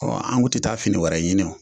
An tun tɛ taa fini wɛrɛ ɲini